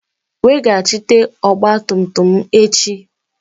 Weghachite ọgba tum tum m echi!